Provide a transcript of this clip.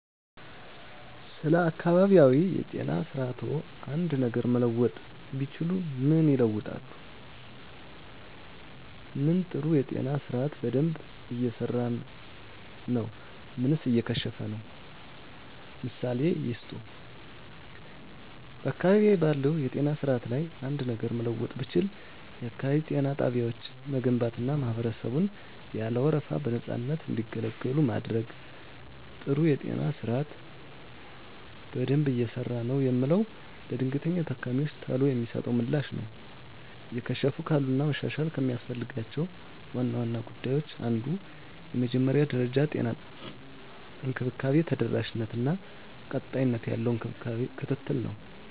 ስለ አካባቢያዊ የጤና ስርዓትዎ አንድ ነገር መለወጥ ቢችሉ ምን ይለውጣሉ? ምን ጥሩ የጤና ስርአት በደንብ እየሰራ ነው ምንስ እየከሸፈ ነው? ምሳሌ ይስጡ። *በአካባቢዬ ባለው የጤና ስርዓት ላይ አንድ ነገር ለመለወጥ ብችል፣ *የአካባቢ ጤና ጣቢያዎችን መገንባትና ማህበረሰቡን ያለ ወረፋ በነፃነት እንዲገለገሉ ማድረግ። *ጥሩ የጤና ስርዓት በደንብ እየሰራ ነው የምለው፦ ለድንገተኛ ታካሚወች ቶሎ የሚሰጠው ምላሽ ነው። *እየከሸፉ ካሉት እና መሻሻል ከሚያስፈልጋቸው ዋና ዋና ጉዳዮች አንዱ የመጀመሪያ ደረጃ የጤና እንክብካቤ ተደራሽነት እና ቀጣይነት ያለው ክትትል ነው።